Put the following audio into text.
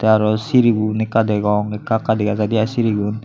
aro sirigun ekka degong ekka ekka dega jaidey aai sirigun.